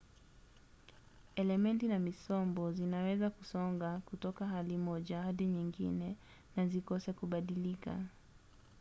elementi na misombo zinaweza kusonga kutoka hali moja hadi nyingine na zikose kubadilika